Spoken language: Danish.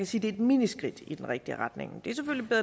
sige det er et miniskridt i den rigtige retning